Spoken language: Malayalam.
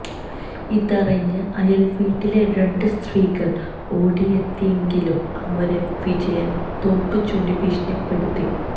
ഇതറിഞ്ഞ് അയൽ വീട്ടിലെ രണ്ട് സ്ത്രീകൾ ഓടിയെത്തിയെങ്കിലും അവരെയും വിജയൻ തോക്ക് ചൂണ്ടി ഭീഷണിപ്പെടുത്തി